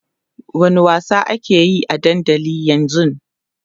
wani wasa akeyi a dandali ƴan zun?